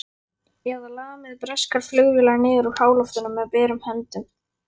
Eða lamið breskar flugvélar niður úr háloftunum með berum höndum?